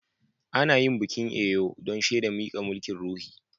Ana yin bikin Eyo dan shedan mika mulki'n ruhi.